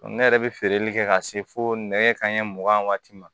Ne yɛrɛ bɛ feereli kɛ ka se fo nɛgɛ kanɲɛ mugan ni waati ma